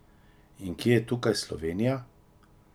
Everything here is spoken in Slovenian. In kje je tukaj Slovenija?